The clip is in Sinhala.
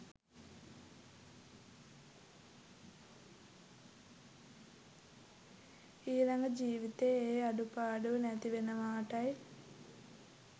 ඊළඟ ජීවිතයේ ඒ අඩුපාඩුව නැතිවෙනවාටයි.